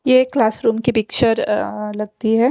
ये क्लासरूम की पिक्चर लगती है।